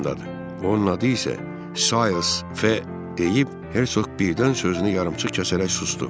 Onun adı isə Saes deyib Hersok Birdən sözünü yarımçıq kəsərək susdu.